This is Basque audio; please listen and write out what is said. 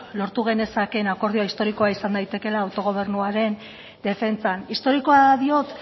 lortu genezakeen akordioa historikoa izan daitekeela autogobernuaren defentsan historikoa diot